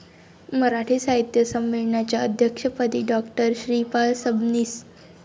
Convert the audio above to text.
मराठी साहित्य संमेलनाच्या अध्यक्षपदी डॉ. श्रीपाल सबनीस